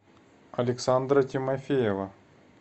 александра тимофеева